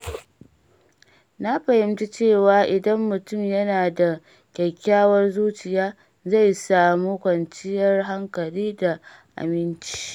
Na fahimci cewa idan mutum yana da kyakkyawar zuciya, zai samu kwanciyar hankali da aminci.